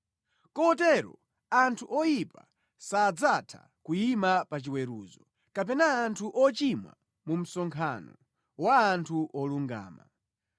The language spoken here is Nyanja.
Kotero anthu oyipa sadzatha kuyima pa chiweruzo, kapena anthu ochimwa mu msonkhano wa anthu olungama.